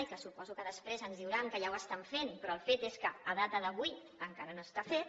i suposo que després ens diran que ja ho estan fent però el fet és que en data d’avui encara no està fet